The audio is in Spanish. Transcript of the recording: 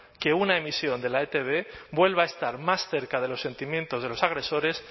que una emisión de la etb vuelva a estar más cerca de los sentimientos de los agresores